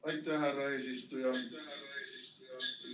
Aitäh, härra eesistuja!